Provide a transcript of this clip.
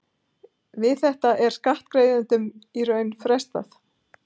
Við þetta er skattgreiðslum í raun frestað.